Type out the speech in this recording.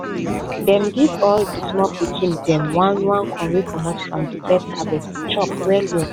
dem give all de small pikin dem one one corn wey comot from de first harvest to chop well well